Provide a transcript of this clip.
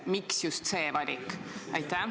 Miks just see valik?